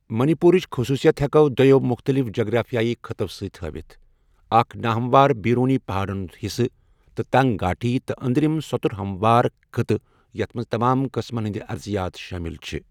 منی پورٕچ خصوٗصیت ہیكو دۄیو مختلِف جگرافِیٲیی خٕطو سٕتۍ ہٲوِتھ اكھ ناہموار بیرونی پہاڈن ہُند حِصہٕ تہٕ تنگ گھاٹی، تہٕ اندرم سوتر ہموار خٕطہٕ ، یتھ منز تمام قٕسمن ہندِ ارضِیات شٲمِل چھِ۔